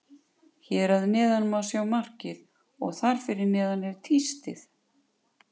Hér að neðan má sjá markið og þar fyrir neðan er tístið.